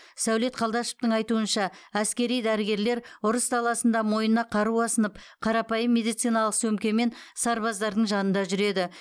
сәулет қалдашовтың айтуынша әскери дәрігерлер ұрыс даласында мойнына қару асынып қарапайым медициналық сөмкемен сарбаздардың жанында жүреді